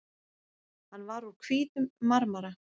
Hann var úr hvítum marmara.